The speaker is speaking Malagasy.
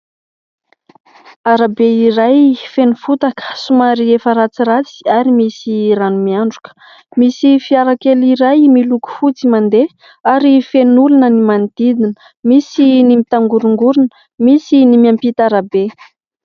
Arabe iray feno fotaka somary efa ratsiratsy ary misy rano miandroka, misy fiara kely iray miloko fotsy mandeha ary feno olona ny manodidina, misy ny mitangorongorona, misy ny miampita arabe.